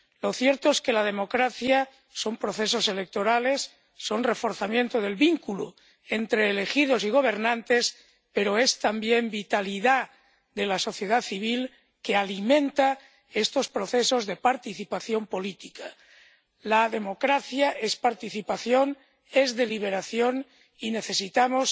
Lo cierto es que la democracia son procesos electorales, es reforzamiento del vínculo entre elegidos y gobernantes, pero también es vitalidad de la sociedad civil, que alimenta estos procesos de participación política. La democracia es participación, es deliberación, y necesitamos